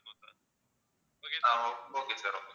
ah okay sir okay sir